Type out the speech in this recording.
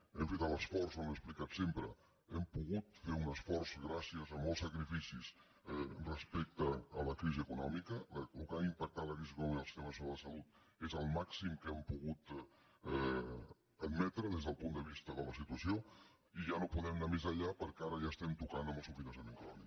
hem fet l’esforç ho hem explicat sempre hem pogut fer un esforç gràcies a molts sacrificis respecte a la crisi econòmica el que va impactar la crisi econòmica al sistema nacional de salut és el màxim que hem pogut admetre des del punt de vista de la situació i ja no podem anar més enllà perquè ara ja estem tocant al subfinançament crònic